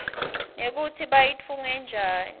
nekutsi bayitfunge njani